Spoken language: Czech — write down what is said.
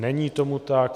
Není tomu tak.